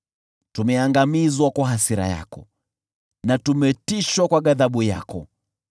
Tumeangamizwa kwa hasira yako na tumetishwa kwa ghadhabu yako.